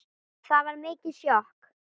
Það var mikið sjokk.